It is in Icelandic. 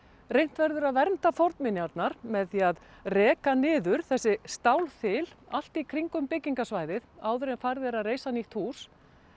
reynt verður að vernda fornminjarnar með því að reka niður þessi stálþil allt í kringum bygggingasvæðið áður en farið verður að reisa nýtt hús